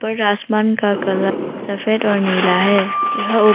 पूरा आसमान का कलर सफेद और नीला है यह उप--